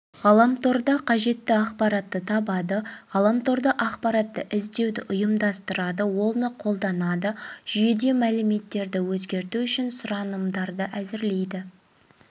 ғаламторда қажетті ақпаратты табады ғаламторда ақпаратты іздеуді ұйымдастырады оны қолданады жүйеде мәліметтерді өзгерту үшін сұранымдарды әзірлейді